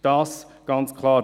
Das ist ganz klar.